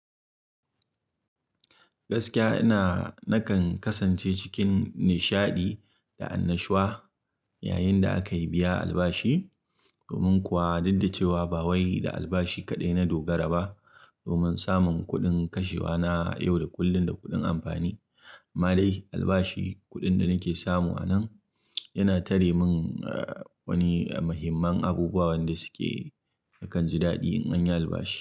Gaskiya ina nakan kasance cikin nishaɗi da annashuwa yayin da aka yi biya albashi. Domin kuwa duk da cewa ba wai da albashi kaɗai na dogara ba. Domin samun kuɗin kashewa na, a yau da kullun da kuɗin amfani. Ma dai albashi kuɗin da nake samu a nan yana tare min wani mqhimman abubuwan da suke nikan jadaɗi in anyi albashi.